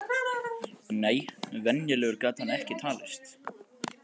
Nei, venjulegur gat hann ekki talist.